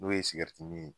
N'o ye sigɛriti min